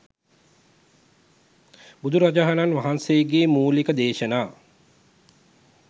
බුදුරජාණන් වහන්සේගේ මූලික දේශනා